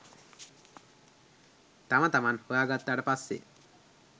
තම තමන් හොයා ගත්තාට පස්සේ